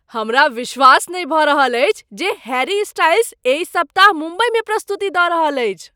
हमरा विश्वास नहि भऽ रहल अछि जे हैरी स्टाइल्स एहि सप्ताह मुम्बईमे प्रस्तुति दऽ रहल अछि।